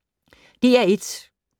DR1